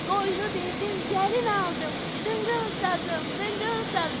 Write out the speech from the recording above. Qoynu verdim gəlin aldım, dıngıl sazım, dıngıl sazım.